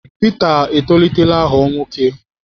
Pita etolitela ghọọ nwoke.